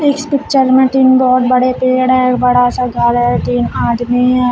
इस पिक्चर में तीन बहोत बड़े पेड़ हैं एक बड़ा सा घर है तीन आदमी हैं।